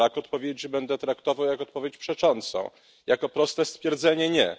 Brak odpowiedzi będę traktował jak odpowiedź przeczącą, jako proste stwierdzenie nie.